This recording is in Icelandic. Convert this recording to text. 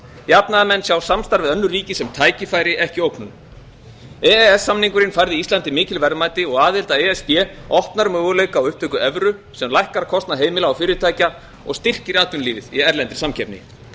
jafnaðarmenn sjá samstarf við önnur ríki sem tækifæri ekki ógnun e e s samningurinn færði íslandi mikil verðmæti og aðild að e s b opnar möguleika á upptöku evru sem lækkar kostnað heimila og fyrirtækja og styrkir atvinnulífið í erlendri samkeppni